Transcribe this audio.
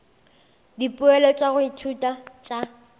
dipoelo tša go ithuta tša